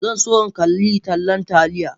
Zan so in kalli tallan Taliya